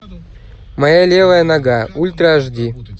моя левая нога ультра аш ди